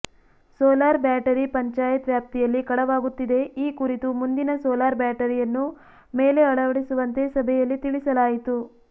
solar battery panchayat ವ್ಯಾಪ್ತಿಯಲ್ಲಿ ಕಳವಾಗುತ್ತಿದೆ ಈ ಕುರಿತು ಮುಂದಿನ ಸೋಲಾರ್ ಬ್ಯಾಟರಿಯನ್ನು ಮೇಲೆ ಅಳವಡಿಸುವಂತೆ ಸಭೆಯಲ್ಲಿ ತಿಳಿಸಲಾಯಿತು